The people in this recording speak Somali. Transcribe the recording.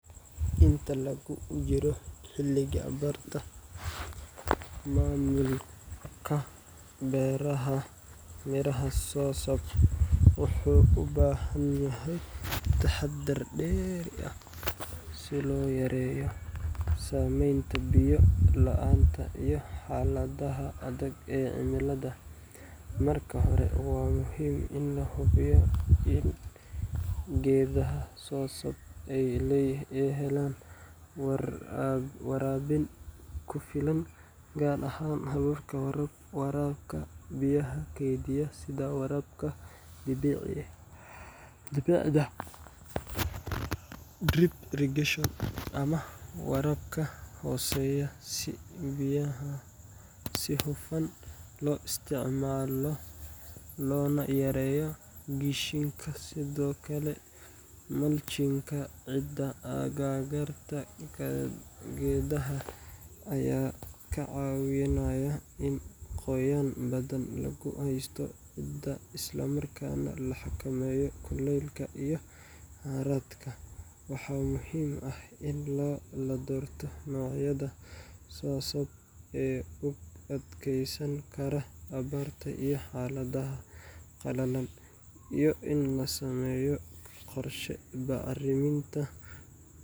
Inta lagu jiro xilliga abaarta, maamulka beerashada miraha soursop wuxuu u baahan yahay taxaddar dheeri ah si loo yareeyo saameynta biyo la’aanta iyo xaaladaha adag ee cimilada. Marka hore, waa muhiim in la hubiyo in geedaha soursop ay helaan waraabin ku filan, gaar ahaan hababka waraabka biyaha keydiya sida waraabka dhibicda drip irrigation ama waraabka hooseeya, si biyaha si hufan loo isticmaalo loona yareeyo qashinka. Sidoo kale, mulching-ka ciidda agagaarka geedaha ayaa ka caawinaya in qoyaan badan lagu haysto ciidda isla markaana la xakameeyo kuleylka iyo harraadka. Waxaa muhiim ah in la doorto noocyada soursop ee u adkeysan kara abaarta iyo xaaladaha qallalan, iyo in la sameeyo qorshe bacriminta.